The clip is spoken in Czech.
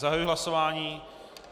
Zahajuji hlasování.